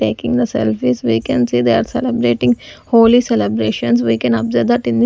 taking the selfies we can see they are celebrating holi celebrations we can observe that in --